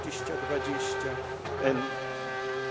2020.